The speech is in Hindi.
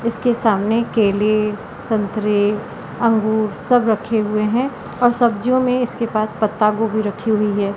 इसके सामने केले संतरे अंगूर सब रखे हुए हैं और सब्जियों में इसके पास पत्ता गोभी रखी हुई है।